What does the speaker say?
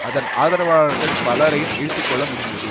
அதன் ஆதரவாளர்கள் பலரையும் இழுத்து கொள்ள முடிந்தது